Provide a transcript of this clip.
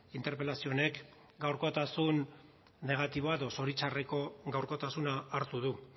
interpelazio honek gaurkotasun negatiboa edo zoritxarreko gaurkotasuna hartu du